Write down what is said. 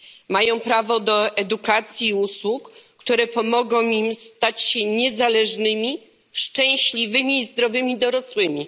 Mają prawo do edukacji i usług, które pomogą im stać się niezależnymi, szczęśliwymi i zdrowymi dorosłymi.